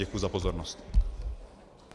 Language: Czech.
Děkuji za pozornost.